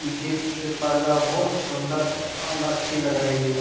पर्दा बोहोत सुन्दर अल अच्छी लग रही है।